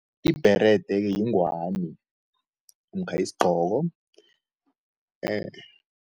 Ibherede yingwani namkha yisigqoko